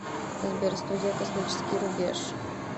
сбер студия космический рубеж